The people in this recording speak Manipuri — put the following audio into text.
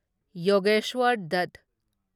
ꯌꯣꯒꯦꯁ꯭ꯋꯔ ꯗꯠ